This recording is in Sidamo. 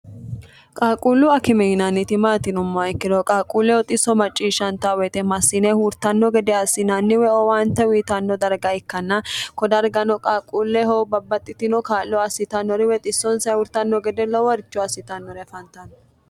qaalquullu akime yinanniti maati yinumma ikkiro qaalquulleho xisso macciishshanta woyite massine huurtanno gede assinanni woy owaante uyitanno darga ikkanna kodargano qaalquulleho babbaxxitino kaallo assitannori woy xissonsa huurtanno gede loworicho assitannori afantanno.